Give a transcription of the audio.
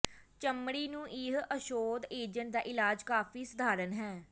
ਚਮੜੀ ਨੂੰ ਇਹ ਔਸ਼ਧ ਏਜੰਟ ਦਾ ਇਲਾਜ ਕਾਫ਼ੀ ਸਧਾਰਨ ਹੈ